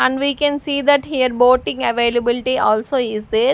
And we can see that here boating availability also is there.